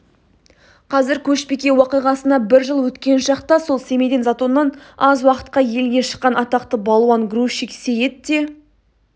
қазір көшбике уақиғасына бір жыл өткен шақта сол семейден затоннан аз уақытқа елге шыққан атақты балуан-грузчик сейіт те